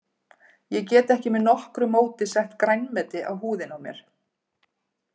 Ég get ekki með nokkru móti sett grænmeti á húðina á mér.